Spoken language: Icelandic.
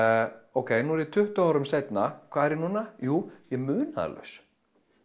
ókei nú er ég tuttugu árum seinna hvað er ég núna jú ég er munaðarlaus